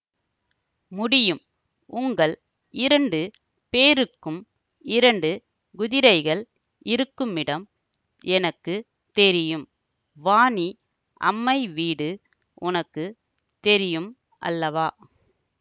முடியும் உங்கள் இரண்டு பேருக்கும் இரண்டு குதிரைகள் இருக்குமிடம் எனக்கு தெரியும் வாணி அம்மை வீடு உனக்கு தெரியும் அல்லவா